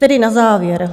Tedy na závěr.